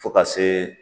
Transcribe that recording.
Fo ka se